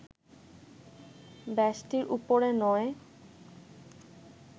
ব্যষ্টির উপরে নয়